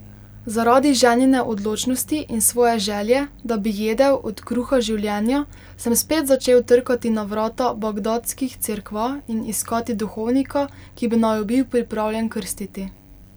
Zaradi ženine odločnosti in svoje želje, da bi jedel od kruha življenja, sem spet začel trkati na vrata bagdadskih cerkva in iskati duhovnika, ki bi naju bil pripravljen krstiti.